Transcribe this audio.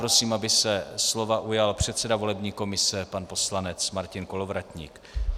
Prosím, aby se slova ujal předseda volební komise pan poslanec Martin Kolovratník.